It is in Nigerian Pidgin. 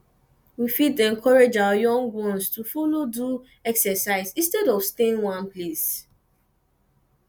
we fit encourage our young ones to follow do exercise instead of staying one place